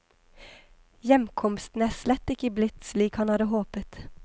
Hjemkomsten er slett ikke blitt slik han hadde håpet.